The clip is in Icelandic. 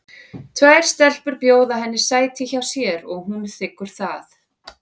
Tvær stelpur bjóða henni sæti hjá sér og hún þiggur það.